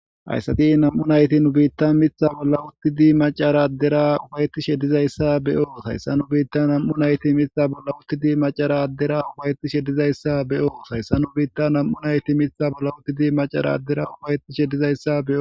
Ayssati nam'u nayti nu biitta mitha bolla utti di macara addera ufayetishe dizayssa be'oo hayssa nu biitta nam'u nayti mitha bolla uttidi macara addera ufayetishe dizayssa be'oo hayssa nu biitta nam'u nayti mitha bolla uttidi macara addera ufayetishe dizayssa beo.